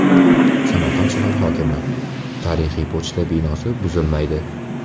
Samarqand shahar hokimi: tarixiy pochta binosi buzilmaydi.